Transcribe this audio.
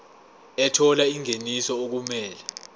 ethola ingeniso okumele